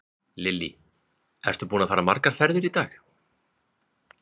Lillý: Ertu búinn að fara margar ferðir í dag?